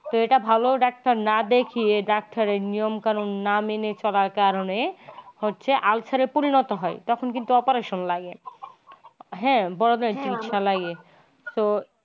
তো এটা ভালো doctor না দেখিয়ে ডাক্তারের নিয়ম কানুন না মেনে চলে তার কারণে হচ্ছে ulcer পরিণত হয় তখন কিন্তু operation লাগে। হ্যা বড়দের চিকিৎসা লাগে তো।